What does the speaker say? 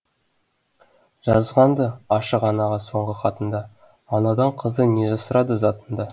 жазған ды ашық анаға соңғы хатында анадан қызы не жасырады затында